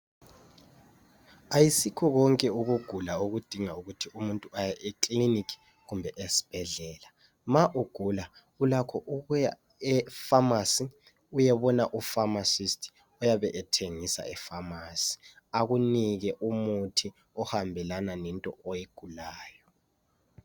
Ayisikho konke ukugula okudinga ukuthi umuntu aye ekilinika kumbe esibhedlela. Ma ugula ulakho ukuya e "pharmacy " uyebona u"pharmacist" oyabe ethengisa e" pharmacy " akunike umuthi ohambelana lento oyigulayo.